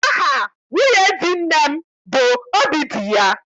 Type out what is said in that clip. Aha nwunye di nne m bụ Obidiya.